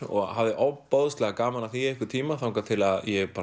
og hafði ofboðslega gaman af því í einhvern tíma þangað til að ég